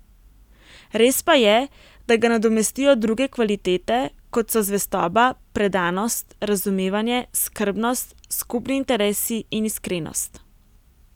Res pa je, da ga nadomestijo druge kvalitete, kot so zvestoba, predanost, razumevanje, skrbnost, skupni interesi in iskrenost.